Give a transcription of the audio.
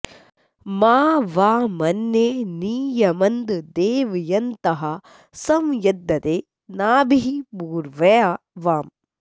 मा वा॑म॒न्ये नि य॑मन्देव॒यन्तः॒ सं यद्द॒दे नाभिः॑ पू॒र्व्या वा॑म्